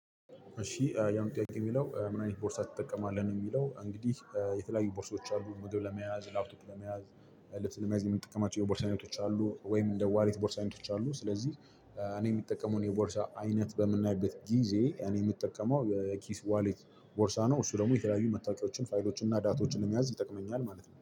እሺ የአሁኑ ጥያቂ የሚለው ምን አይነት ቦርሳ ትጠቀማለህ ነው? የሚለው እንግዲህ የተለያዩ ቦርሶች አሉ ምግብ ለመያዝ ላፕቶፕ ለመያዝ ለመያዝ የምንጠቀማቸው የቦርሳ አይነቶች አሉ። ወይም እንደ ዋሌት ቦርሳ አይነቶች አሉ። ስለዚህ እኔ የሚጠቀሙን የቦርሳ አይነት በምናይበት ጊዜ እኔ የምጠቀመው የኪስ ዋሌት ቦርሳ ነው። እሱ ደግሞ የተለያዩ መታወቂያዎችን ፋይሎችን እና ዳቶችን ለመያዝ ይጠቅመኛል ማለት ነው